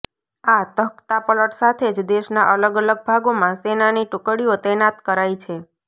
આ તખ્તાપલટ સાથે જ દેશના અલગ અલગ ભાગોમાં સેનાની ટુકડીઓ તૈનાત કરાઈ છે